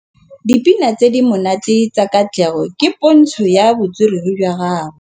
Dipina tse di monate tsa Katlego ke pôntshô ya botswerere jwa gagwe.